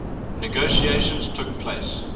negotiations took place